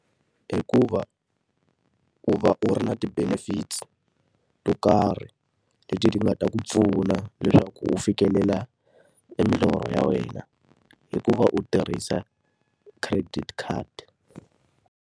Hikuva u va u ri na ti-benefits to karhi leti ti nga ta ku pfuna leswaku u fikelela e milorho ya wena. Hikuva u tirhisa credit card.